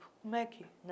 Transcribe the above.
Como é que, né?